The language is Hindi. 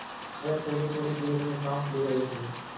वह थोड़ीथोड़ी देर में साँस ले रहे थे